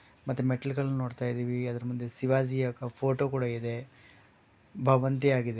ಮತ್ತೆ ಮೆಟ್ಲು ಗಳನ್ ನೋಡ್ತಯ್ದಿವಿ ಆದ್ರು ಮುಂದೆ ಶಿವಾಜಿಯ ಕ್ ಫೋಟೋ ಕೂಡ ಇದೆ ಭವಂತಿಯಾಗಿದೆ.